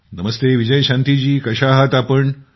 नमस्ते विजयशांतीजी कशा आहात आपण